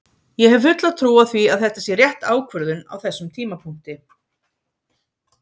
Ég hef fulla trú á því að þetta sé rétt ákvörðun á þessum tímapunkti.